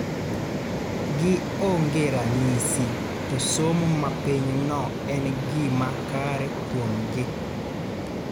gi onge ranyisi to somo mapiny no en gima kare kuomgi